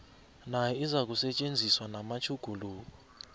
nayo izakusetjenziswa namatjhuguluko